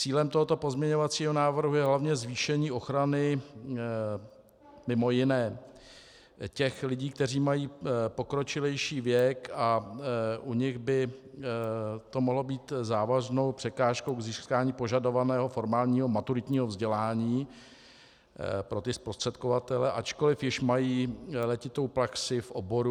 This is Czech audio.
Cílem tohoto pozměňovacího návrhu je hlavně zvýšení ochrany, mimo jiné, těch lidí, kteří mají pokročilejší věk, a u nich by to mohlo být závažnou překážkou k získání požadovaného formálního maturitního vzdělání pro ty zprostředkovatele, ačkoli již mají letitou praxi v oboru.